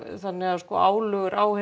þannig að álögur á